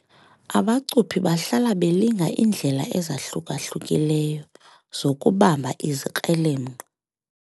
Abacuphi bahlala belinga iindlela ezahluka-hlukileyo zokubamba izikrelemnqa.